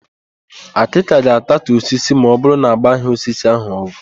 Àkị́kà ga-atatu osisi ma ọbụrụ na agbaghị osisi ahụ ọgwụ.